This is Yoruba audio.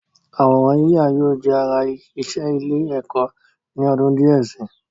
Àwòrán yíyà yóò jẹ́ ara iṣẹ́ ilé-ẹ̀kọ́ ni ọdún díẹ̀ si.